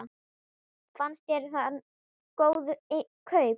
Fannst þér hann góð kaup?